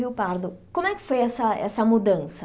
Rio pardo Como é que foi essa mudança?